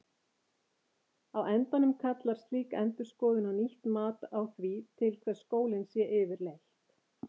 Á endanum kallar slík endurskoðun á nýtt mat á því til hvers skólinn sé yfirleitt.